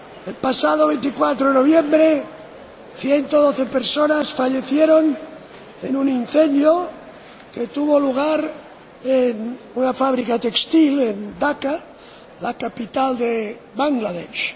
el pasado 24 de noviembre, 112 personas fallecieron en un incendio que tuvo lugar en una fábrica textil en Daca, la capital de Bangladesh.